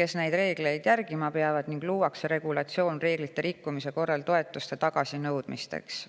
kes neid reegleid järgima peavad, ning luuakse regulatsioon reeglite rikkumise korral toetuste tagasinõudmiseks.